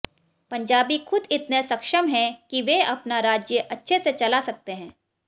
पंजाबी खुद इतने सक्षम है कि वे अपना राज्य अच्छे से चला सकते हैं